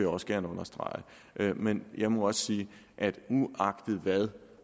også gerne understrege men jeg må også sige at vi uagtet hvad